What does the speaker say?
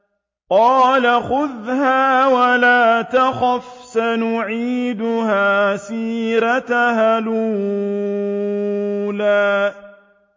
قَالَ خُذْهَا وَلَا تَخَفْ ۖ سَنُعِيدُهَا سِيرَتَهَا الْأُولَىٰ